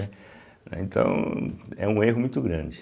Então, é um erro muito grande.